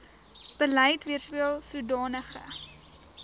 beleid weerspieel sodanige